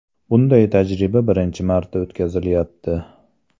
Bunday tajriba birinchisi marta o‘tkazilmayapti.